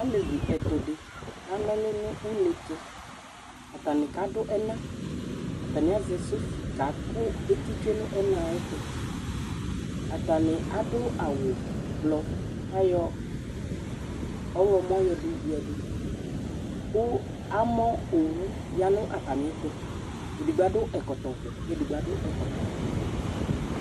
Alevi ɛtʋ dɩ kana ɔlʋ nʋ une tʋ Atanɩ kadʋ ɛna Atanɩ azɛ sofi kakʋ eti tsue nʋ ɛna yɛ tʋ Atanɩ adʋ awʋblɔ kʋ ayɔ ɔɣlɔmɔ yɔyǝdu kʋ amɔ owu ya nʋ atamɩɛtʋ Edigbo adʋ ɛkɔtɔvɛ kʋ edigbo adʋ ɛkɔtɔwɛ